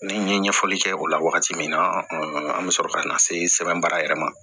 Ni n ye ɲɛfɔli kɛ o la wagati min na an bɛ sɔrɔ ka na se sɛbɛn baara yɛrɛ ma